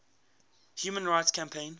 human rights campaign